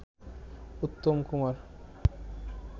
Uttam Kumar